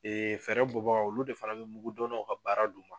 fɛɛrɛ bɔ bagaw olu de fana bɛ mugu donnaw ka baara d'u ma.